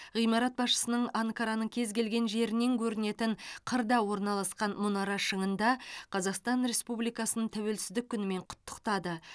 ғимарат басшысының анкараның кез келген жерінен көрінетін қырда орналасқан мұнара шыңында қазақстан республикасын тәуелсіздік күнімен құттықтады